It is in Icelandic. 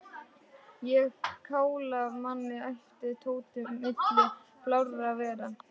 Á að kála manni æpti Tóti milli blárra vara.